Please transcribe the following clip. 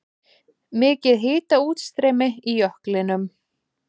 Mikið hitaútstreymi í jöklinum